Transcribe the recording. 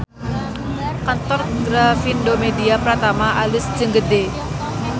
Kantor Grafindo Media Pratama alus jeung gede